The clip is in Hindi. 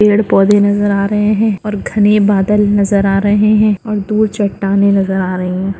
पेड़ पौधे नजर आ रहे है। और घने बादल नजर आ रहे है। और दूर चट्टानें नजर आ रहे है।